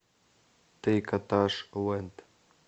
трикотаж лэнд